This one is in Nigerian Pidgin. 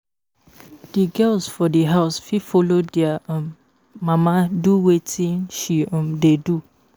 Di girls for di house fit follow their um mama do wetin she um dey do